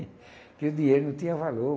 Porque o dinheiro não tinha valor.